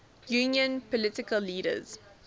union political leaders